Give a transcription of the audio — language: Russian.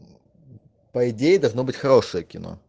по идее должно быть хорошее кино